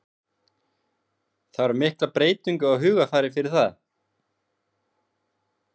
Þarf mikla breytingu á hugarfari fyrir það?